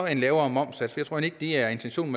en lavere momssats jeg tror ikke det er intentionen